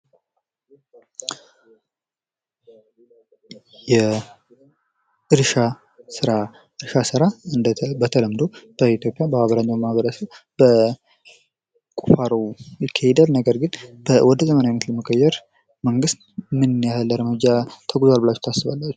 የእርሻ ስራ በተለምዶ በኢትዮጵያ በአብዛኛው ማህበረሰብ በ ቁፋሮ ይካሄዳል ነገር ግን፤ ወደ ዘመናዊነት መቀየር መንግስት ምን ያህል እርምጃ ተጉዟል ብላችሁ ታስባላቺሁ?